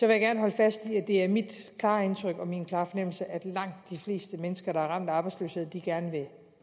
jeg gerne holde fast i at det er mit klare indtryk og min klare fornemmelse at langt de fleste mennesker der er ramt af arbejdsløshed gerne vil